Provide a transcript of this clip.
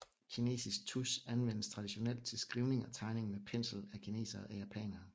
Kinesisk tusch anvendes traditionelt til skrivning og tegning med pensel af kinesere og japanere